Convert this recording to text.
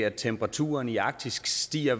at temperaturen i arktis stiger